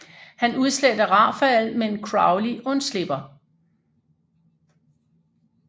Han udsletter Raphael men Crowley undslipper